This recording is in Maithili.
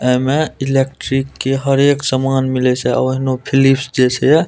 ए मे इलेक्ट्रिक के हर एक सामान मिले छै ओहनो फिलिप्स जे छै ये --